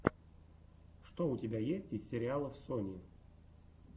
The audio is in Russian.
что у тебя есть из сериалов сони